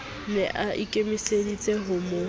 ne a ikemiseditse ho mo